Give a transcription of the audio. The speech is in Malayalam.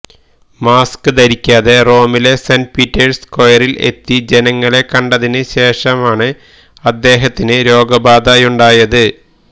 മാസ്ക് ധരിക്കാതെ റോമിലെ സെന്റ് പീറ്റേഴ്സ് സ്ക്വയറില് എത്തി ജനങ്ങളെ കണ്ടതിന് ശേഷമാണ് അദ്ദേഹത്തിന് രോഗബാധയുണ്ടായത്